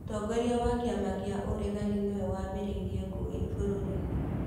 Mũtongoria wa kĩama kĩa ũregani miwe wambĩrĩirie ngũi bũrũri-inĩ